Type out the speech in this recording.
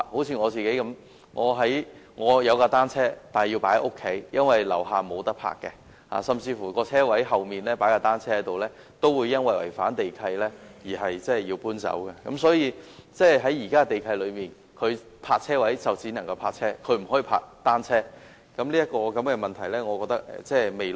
以我自己為例，我有一輛單車，但卻要放在家中，因為我家樓下沒有地方停泊，即使在車位後面擺放單車，也會因違反地契而要把單車搬走，原因是根據現時的地契，車位只能泊車，不能作停泊單車之用。